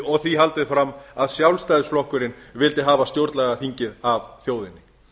og því haldið fram að sjálfstæðisflokkurinn vildi hafa stjórnlagaþingið af þjóðinni